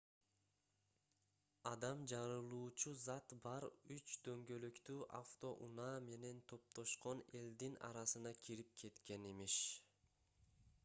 адам жарылуучу зат бар үч дөңгөлөктүү автоунаа менен топтошкон элдин арасына кирип кеткен имиш